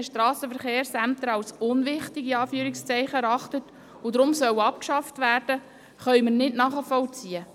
Die BDP ist froh, dass der Regierungsrat diese Haltung nicht teilt und sich dem Bund gegenüber entsprechend geäussert hat.